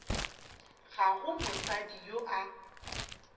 ga go mosadi yo a